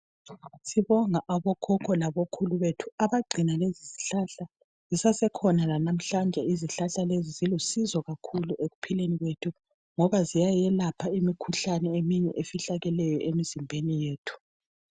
Sibonga okhokho labokhulu bethu abagcina lezi zihlahla zisasekhona lanamhlanje izihlahla lezi. Zilusizo kakhulu ekuphileni kwethu ngoba ziyayelapha imikhuhlane eminye efihlakeleyo emzimbeni yethu.